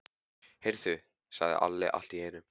Heyrðu, sagði Alli allt í einu.